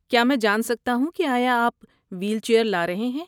کیا میں جان سکتا ہوں کہ آیا آپ وہیل چیئر لا رہے ہیں؟